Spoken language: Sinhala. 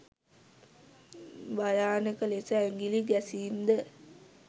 භයානක ලෙස ඇඟිළි ගැසීම් ද